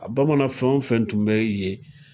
A bamanan fɛn wo fɛn tun bɛ yen.